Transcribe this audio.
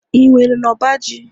ị nwere n'ọba ji?